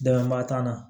Dɛmɛba t'an na